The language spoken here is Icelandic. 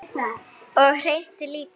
Og hreint líka!